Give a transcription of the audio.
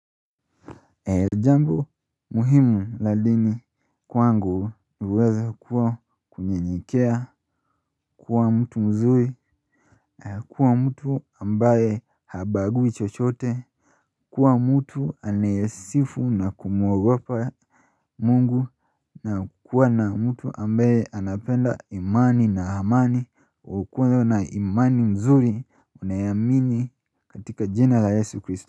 E jambo muhimu la dini kwangu uweza kuwa kunyenyekea kuwa mtu mzuri na kuwa mtu ambaye habagui chochote kuwa mtu anayesifu na kumuogopa mungu na kuwa na mtu ambaye anapenda imani na amani wa ukudo na imani mzuri unayamini katika jina la yesu kristo.